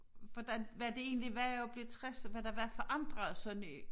Hvordan hvad det egentlig var at blive 60 og hvad der var forandret sådan i